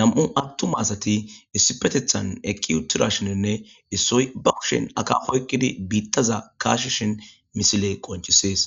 nam'u attuma asati issi petethan ekki uttira shininne issoy bakushin aka hoykkidi biittaza kaashi shin misile qonchisees.